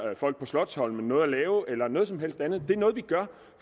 folk på slotsholmen noget at lave eller noget som helst andet men det er noget vi gør